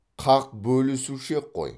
қақ бөлісуші ек қой